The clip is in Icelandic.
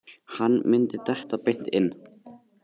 Hann myndi detta beint inn.